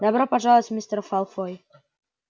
добро пожаловать мистер фалфой